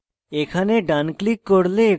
এখানে ডান click করলে